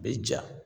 Bɛ ja